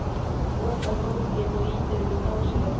Lokar bókinni og ýtir henni frá sér.